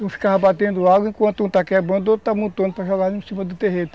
Um ficava batendo água enquanto um está quebrando, o outro está montando para jogar em cima do terreiro.